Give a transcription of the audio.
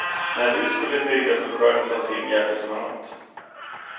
När hus skulle byggas och skörden tas in hjälptes man åt.